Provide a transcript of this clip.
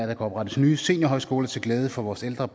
der kan oprettes nye seniorhøjskoler til glæde for vores ældre